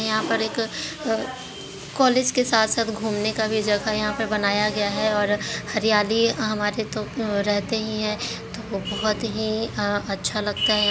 यहाँ पर एक अ- कॉलेज के साथ-साथ गुमने का भी जगह यहाँ पर बनाया गया है और हरयाली हमारे तो रहते ही है तो बहुत ही अ अच्छा लगता है।